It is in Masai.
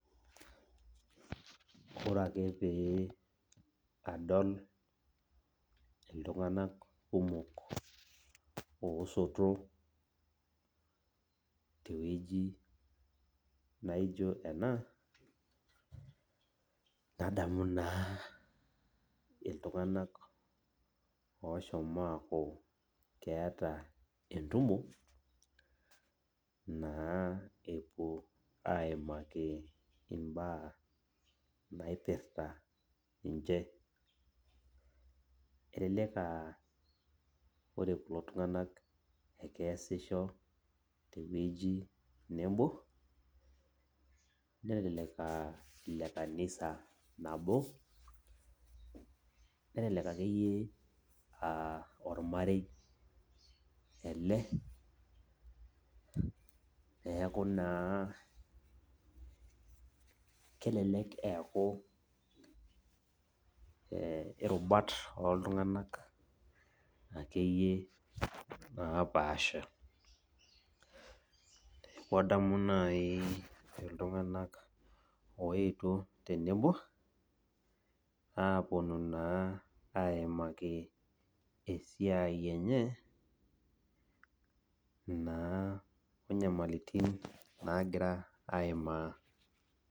Ore ake pee adol iltunganak kumok osoto tenebo tewueji naijo ena , nadamu naa iltunganak oshomo aaku keeta entumo naa epuo aimaki imbaa naipirta ninche . Elelek aa ore kulo tunganak naa kesisho tewueji nebo nelelek aa ilekanisa nabo , nelelek akeyie aa ormarei ele neaku naa kelelek eaku irubat oltunganak akeyie opasha amu adamu naji itunganak oetuo tenebo aponu naa aimaki esiai enye onyamalitin enye nagira aimaa.